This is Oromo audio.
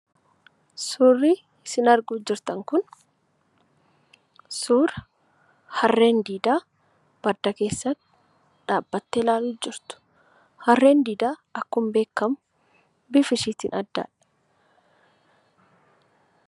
Suurri sin arguutti jirtan kun suuraa haarreen diidaa badda keessa dhaabattee ilaalutti jirtu. Harreen diidaa akkuma beekamu bifa isheen addadha.